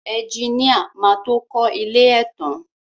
Ẹjiníà má tó kọ ilé ẹ tán.